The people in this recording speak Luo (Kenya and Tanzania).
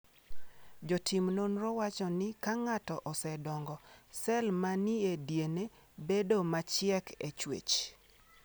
Jotim nonrogo wacho ni ka ng’ato osedongo, sel ma ni e DNA bedo machiek e chwech.